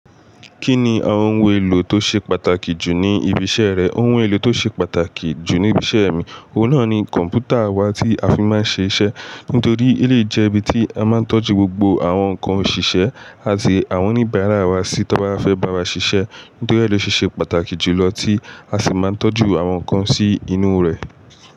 Kí ni àwon ohun èlò to se pàtàkì jù ní ibi isẹ rẹ? Ohun èlò to ṣe pàtàkì jù ní ibi isẹ mí, òhun náa ni kọ̀m̀pútà wá ti a fi máa n ṣe isẹ. Nítorí, eleyii jẹ́ ibi tí a máa ń tọ́jú gbogbo àwọn nǹkan òṣìṣẹ́ àti àwọn oníbàárà wa sí tó n bá fẹ́ bá wa ṣiṣẹ́. Nítorí ẹ̀ ló ṣe se pàtàkì jù lọ tí a sì máa ń tọ́jú àwọn nǹkan sí inú rè.